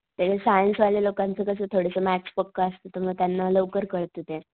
ते सायन्स वाल्या लोकांचं कस थोडासा मॅथ्स पक्क असत तर मग त्यांना लवकर कळत ते.